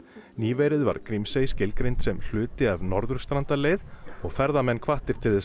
nýverið var Grímsey skilgreind sem hluti af Norðurstrandarleið og ferðamenn hvattir til þess að